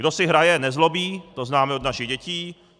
Kdo si hraje, nezlobí, to známe od našich dětí.